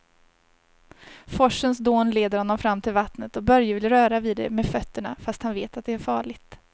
Forsens dån leder honom fram till vattnet och Börje vill röra vid det med fötterna, fast han vet att det är farligt.